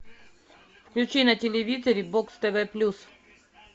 включи на телевизоре бокс тв плюс